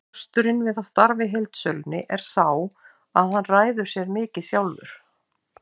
Kosturinn við að starfa í heildsölunni er sá að hann ræður sér mikið sjálfur.